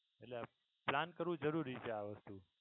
એટલે plan કરવો જરૂરી છે આ વસ્તુ